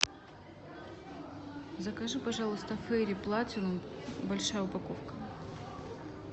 закажи пожалуйста фейри платинум большая упаковка